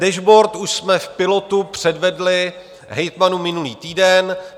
Dashboard už jsme v pilotu předvedli hejtmanům minulý týden.